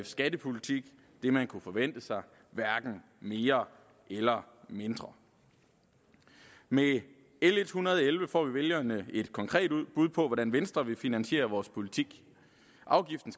skattepolitik det man kunne forvente sig hverken mere eller mindre med l en hundrede og elleve får vælgerne et konkret bud på hvordan venstre vil finansiere vores politik afgiften